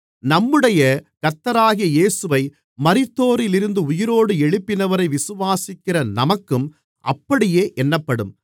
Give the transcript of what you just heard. நம்முடைய கர்த்தராகிய இயேசுவை மரித்தோரிலிருந்து உயிரோடு எழுப்பினவரை விசுவாசிக்கிற நமக்கும் அப்படியே எண்ணப்படும்